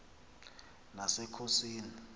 nasekhosini